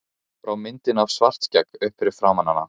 Hann brá myndinni af Svartskegg upp fyrir framan hana.